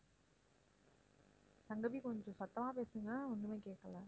சங்கவி கொஞ்சம் சத்தமா பேசுங்க ஒண்ணுமே கேட்கல